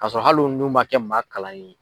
Ka sɔrɔ hali n'u man kɛ maa kalanlen ye.